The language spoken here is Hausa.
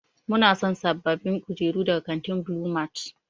Muna son sabbabin kujeru daga kantin Blue mart.